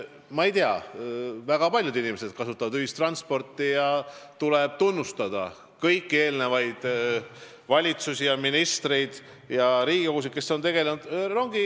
Ma ei tea, väga paljud kasutavad ühistransporti ja tuleb tunnustada kõiki eelnevaid valitsusi, ministreid ja Riigikogusid, kes on ühistranspordi teemaga tegelenud.